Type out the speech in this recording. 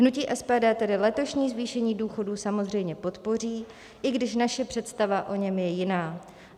Hnutí SPD tedy letošní zvýšení důchodů samozřejmě podpoří, i když naše představa o něm je jiná.